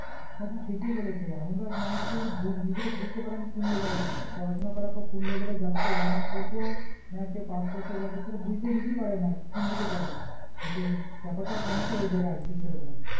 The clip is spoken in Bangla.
হ্যাঁ তু ঠিকই বলেছে এখনকার মানুষের বুজনিজেকে বুজতে পারে আমি কোন level এ আছি পড়াশোনার করার পরে কোন level এ যাবো কেও honours করবো না কেও pass course এ যাবে বুজতে নিজেই পারে না কুন দিকে যাবে এটাই হচ্ছে জাপাটাও সমস্যা হয়েযায় guidance এর বেলায়